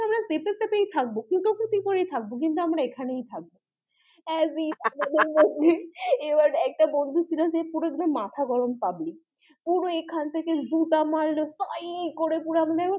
থাকবো চাপাচাপি করেই থাকবো কিন্তু আমরা ওখানেই থাকবো as if এবার একটা বন্ধু ছিল যে পুরো মাথা গরম public পুরো এখান থেকে জুতা মারলো করে পুরা